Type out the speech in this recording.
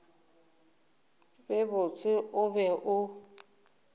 be botse o be o